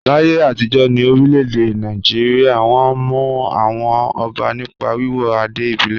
Láyé àtijọ́ ní orílẹ̀-èdè Nàìjíríà, wọ́n mọ àwọn ọba nípa wíwọ adé ìbílẹ̀.